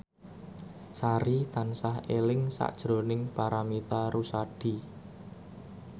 Sari tansah eling sakjroning Paramitha Rusady